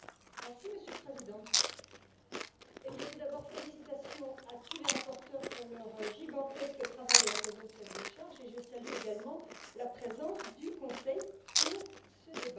Monsieur le Président, tout d'abord félicitations à tous les rapporteurs pour leur gigantesque travail à l'occasion de cette décharge et je salue également la présence du Conseil pour ce débat.